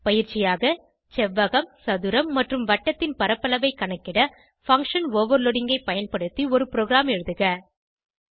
பயிற்சியாக செவ்வகம் சதுரம் மற்றும் வட்டத்தின் பரப்பளவை கணக்கிட பங்ஷன் ஓவர்லோடிங் ஐ பயன்படுத்தி ஒரு ப்ரோகிராம் எழுதுக